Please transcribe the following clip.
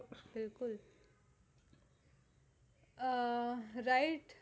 હા